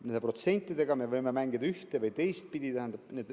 Nende protsentidega me võime mängida üht‑ või teistpidi.